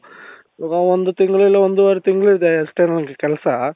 ಇವಾಗ ಒಂದು ತಿಂಗಳು ಇಲ್ಲ ಒಂದೂವರೆ ತಿಂಗಳು ಇದೆ ಅಷ್ಟೆ ನoಗೆ ಕೆಲಸ.